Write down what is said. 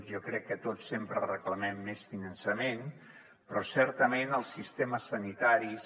jo crec que tots sempre reclamem més finançament però certament els sistemes sanitaris